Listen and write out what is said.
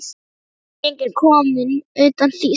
Skip eru engin komin utan þýsk.